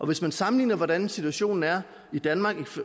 hvis man sammenligner hvordan situationen er i danmark